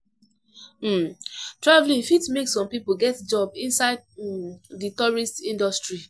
um Travelling fit make some pipo get job inside um di tourist industry